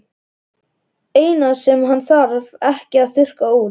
Eina sem hann þarf ekki að þurrka út.